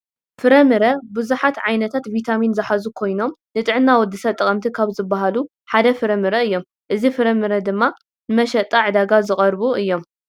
ፍራምረ ብዛሓት ዓይነታት ቪታሚን ዝሓዙ ኮይኖም ንጥዕና ወድስብ ጠቀምቲ ካብ ዝባሃሉ ሐደ ፍራምረ አዮም ። እዚ ፍራምረ ድማ ንመሽጣ ዕዳጋ ዝቀረቡ እዮም ።